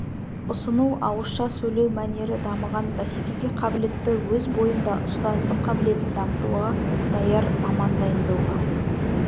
ұсыну ауызша сөйлеу мәнері дамыған бәсекеге қабілетті өз бойында ұстаздық қабілетін дамытуға даяр маман дайындауға